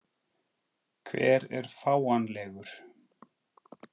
Hver er fáanlegur?